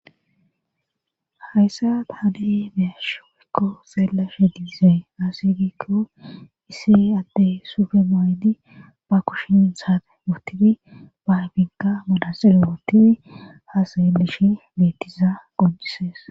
hayssa taada7i beyashe woykko xeellashe diizee aaseygikko isi addey sufe maydi ba kushin saate uttidi babinka modaselo utii ha seelishi bettiza qojisees